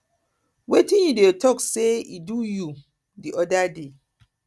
wetin you dey talk say e do you di other day